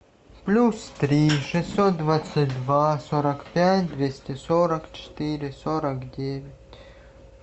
плюс три шестьсот двадцать два сорок пять двести сорок четыре сорок девять